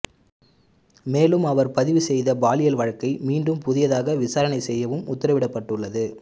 மேலும் அவர் பதிவு செய்த பாலியல் வழக்கை மீண்டும் புதிதாக விசாரணை செய்யவும் உத்தரவிடப்பட்டுள்ளது